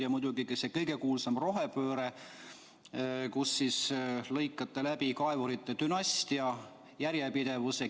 Ja muidugi see kõige kuulsam asi, rohepööre, kus te lõikate läbi kaevurite dünastiate järjepidevuse.